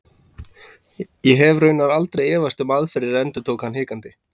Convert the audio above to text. Ég hef raunar aldrei efast um aðferðirnar endurtók hann hikandi.